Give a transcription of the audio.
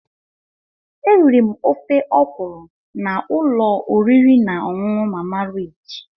Eriri m ofe ọkwụrụ na ụlọ oriri na ọṅụṅụ Mama Rich.